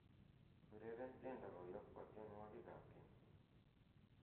ureren tiendo koyop kwa tienwogik ab keny'